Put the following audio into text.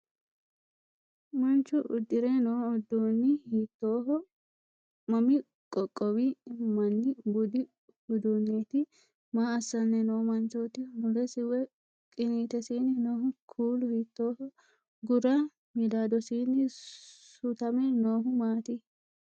Manchu uddire noo uduunni hiittooho? Mami qoqqowi manni budu uduunneeti? Maa assanni noo manchooti? Mulesi woy qiniitesiinni noo kuulu hiittooho? Gura midaadosiinni sutame noohu maati?